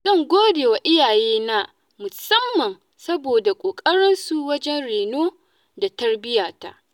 Zan godewa iyayena musamman saboda ƙoƙarinsu wajen reno da tarbiyyata.